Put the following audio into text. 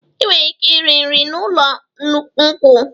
Ịnwere ike iri nri na ụlọ nkwụ.